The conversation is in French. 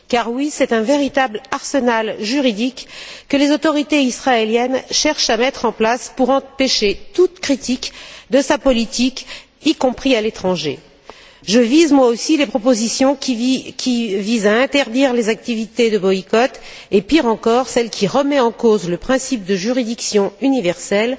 Car c'est un véritable arsenal juridique que les autorités israéliennes cherchent à mettre en place pour empêcher toute critique de leur politique, y compris à l'étranger. Je cible moi aussi les propositions qui visent à interdire les activités de boycott et, pire encore, celle qui remet en cause le principe de juridiction universelle,